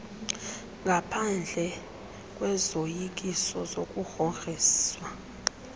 ngaphendle kwezoyikiso zokugrogriswa